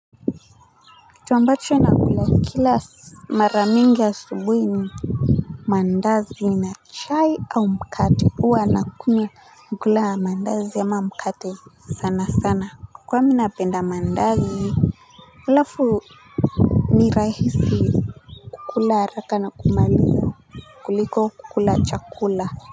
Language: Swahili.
Kitu ambacho nakula kila mara mingi asubuhi ni mandazi na chai au mkate huwa na kunywa kula mandazi ama mkate sana sana kwa ninapenda mandazi halafu ni rahisi kula haraka na kumaliza kuliko kula chakula.